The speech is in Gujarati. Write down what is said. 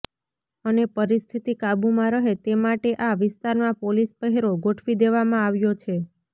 અને પરિસ્થિતિ કાબુમા રહે તે માટે આ વિસ્તારમાં પોલીસ પહેરો ગોઠવી દેવામાં આવ્યો છે